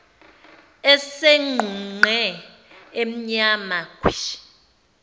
esegqunqe emnyama khwishi